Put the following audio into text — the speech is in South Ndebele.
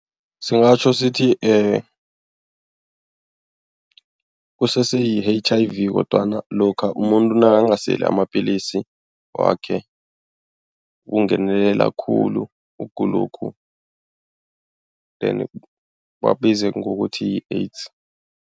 Singatjho sithi kusese yi-H_I_V kodwana lokha umuntu nakangaseli amapillisi wakhe kungenelela khulu ukugulokhu then bakubize ngokuthi yi-AIDS.